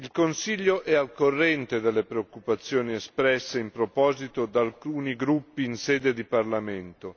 Il Consiglio è al corrente delle preoccupazioni espresse in proposito da alcuni gruppi in sede di Parlamento.